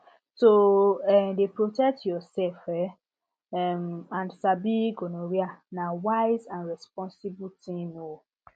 to um dey protect yourself um um and sabi gonorrhea na wise and responsible thing um